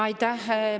Aitäh!